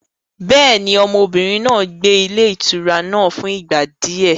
Bẹ́ẹ̀ni, ọmọbìnrin náà gbé ní ilé ìtura náà fún ìgbà di ẹ.